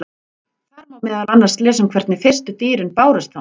Þar má meðal annars lesa um hvernig fyrstu dýrin bárust þangað.